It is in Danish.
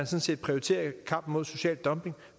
set prioriterer kampen mod social dumping